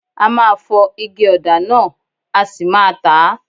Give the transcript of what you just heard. A máa fọ ige ọ̀dà náà a sì máa tà á.